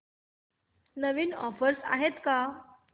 नवीन offers आहेत का